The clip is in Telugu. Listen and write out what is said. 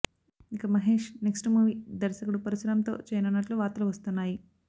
ఇక మహేష్ నెక్స్ట్ మూవీ దర్శకుడు పరుశురాం తో చేయనున్నట్లు వార్తలు వస్తున్నాయి